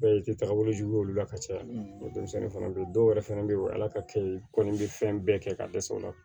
tagabolo jugu ye olu la ka caya denmisɛnnin fana be yen dɔwɛrɛ fɛnɛ be yen ala ka kɛ kɔni bi fɛn bɛɛ kɛ ka dɛsɛ o la